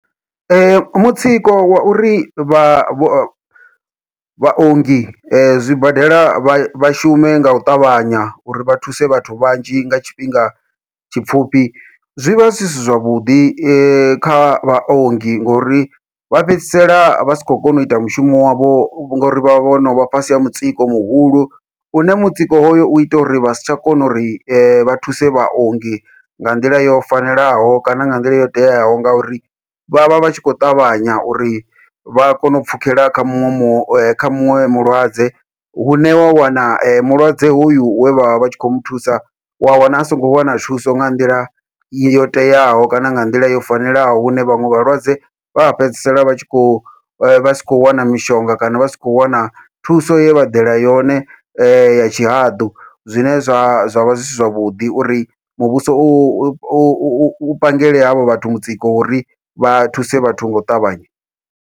Mutsiko wa uri vha vhaongi zwibadela vha shume ngau ṱavhanya, uri vha thuse vhathu vhanzhi nga tshifhinga tshipfhufhi zwi vha zwi si zwavhuḓi kha vhaongi ngori vha fhedzisela vha si khou kona uita mushumo wavho ngori vha vhono vha fhasi ha mutsiko muhulu, une mutsiko hoyo uita uri vha si tsha kona uri vha thuse vhaongi nga nḓila yo fanelaho kana nga nḓila yo teaho. Ngauri vhavha vhatshi kho ṱavhanya uri vha kone u pfhukhela kha muṅwe mu kha muṅwe mulwadze, hune wa wana mulwadze hoyu we vhavha vhatshi kho muthusa wa wana a songo wana thuso nga nḓila yo teaho, kana nga nḓila yo fanelaho hune vhaṅwe vhalwadze vha fhedzisela vha tshi kho vha si kho wana mishonga kana vha si kho wana thuso ye vha ḓela yone ya tshihaḓu, zwine zwa zwavha zwi si zwavhuḓi uri muvhuso u u u pangele havho vhathu mutsiko wa uri vha thuse vhathu ngau ṱavhanya.